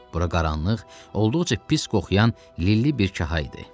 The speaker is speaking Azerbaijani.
Bura qaranlıq, olduqca pis qoxuyan lilli bir kaha idi.